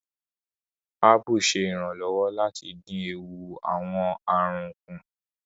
Apu ṣe iranlọwọ lati din eewu awọn arun ku